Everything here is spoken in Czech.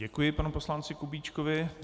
Děkuji panu poslanci Kubíčkovi.